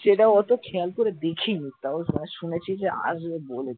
সেটা অতো খেয়াল করে দেখিনি তাও শুনেছি যে আসবে বলেছে ।